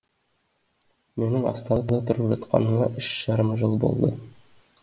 менің астанада тұрып жатқаныма үш жарым жыл болды